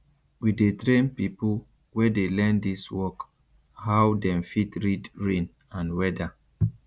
we dey train pipo wey dey learn dis work how dem fit read rain and weada